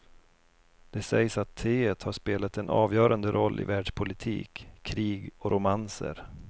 Det sägs att teet har spelat en avgörande roll i världspolitik, krig och romanser.